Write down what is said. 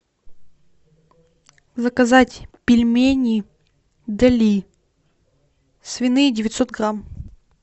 заказать пельмени дали свиные девятьсот грамм